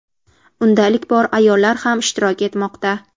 Unda ilk bor ayollar ham ishtirok etmoqda.